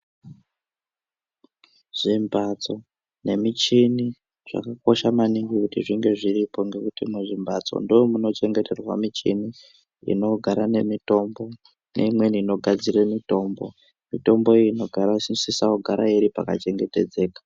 Zvimbatso nemichini zvakakosha maningi kuti zvinge zviripo ngekuti muzvimbatso munochengeterwa michini inogara nemitombo neimweni inogadzire mitombo, mitombo iyi inosisa kugara iri pakachengetedzeka.